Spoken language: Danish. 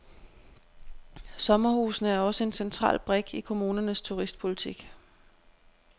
Sommerhusene er også en central brik i kommunernes turistpolitik.